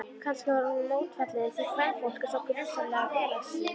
Kannski var hún mótfallin því, kvenfólk er svo grunsamlega félagslynt.